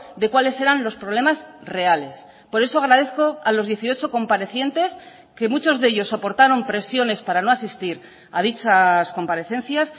de cuales eran los problemas reales por eso agradezco a los dieciocho comparecientes que muchos de ellos soportaron presiones para no asistir a dichas comparecencias